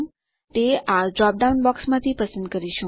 આપણે તે આ ડ્રોપ ડાઉન બોક્સ માંથી પસંદ કરીશું